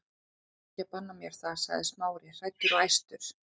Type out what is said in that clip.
Þú getur ekki bannað mér það- sagði Smári, hræddur og æstur.